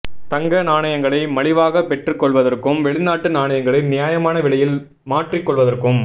தங்க நாணயங்களை மலிவாகப் பெற்றுக் கொள்வதற்கும் வெளிநாட்டு நாணயங்களை நியாயமான விலையில் மாற்றி கொள்வதற்கும்